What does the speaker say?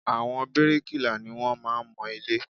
Àwọn bíríkìlà ni wọ́n máa ń mọ ilé